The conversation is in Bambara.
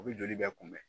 U bɛ joli bɛ kunbɛn